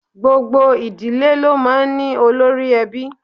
Gbogbo ìdílé lo máa ń ní olórí-ẹbí